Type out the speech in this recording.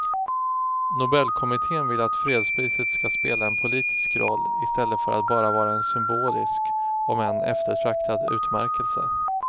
Nobelkommittén vill att fredspriset ska spela en politisk roll i stället för att bara vara en symbolisk om än eftertraktad utmärkelse.